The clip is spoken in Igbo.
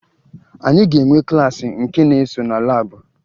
Anyị ga-enwe klaasị nke na-eso na laabụ